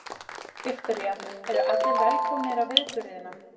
Viktoría: Eru allir velkomnir á viðburðina?